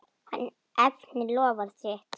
Hann efnir loforð sitt.